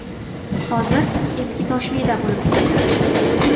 Hozir eski ToshMIda bo‘lib turibdi.